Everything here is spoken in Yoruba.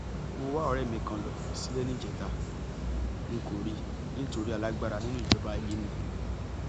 mo wá ọrẹ mi kan lọ sílé níjẹta n kò rí i nítorí alágbára nínú ìjọba yìí ni